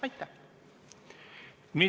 Aitäh!